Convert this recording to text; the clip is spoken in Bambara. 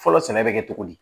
Fɔlɔ sɛnɛ bɛ kɛ cogo di